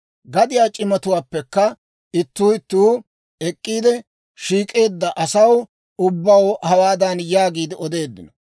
Gadiyaa c'imatuwaappekka ittuu ittuu ek'k'iide, shiik'eedda asaw ubbaw hawaadan yaagiide odeeddino;